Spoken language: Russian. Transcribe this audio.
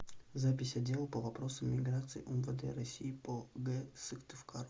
запись отдел по вопросам миграции умвд россии по г сыктывкару